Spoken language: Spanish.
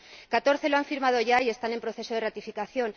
Catorce lo han firmado ya y están en proceso de ratificación.